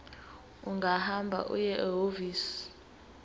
ungahamba uye ehhovisi